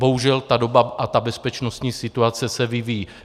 Bohužel ta doba a ta bezpečnostní situace se vyvíjejí.